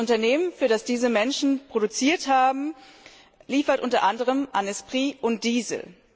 Das Unternehmen, für das diese Menschen produziert haben, liefert unter anderem an Esprit und Diesel.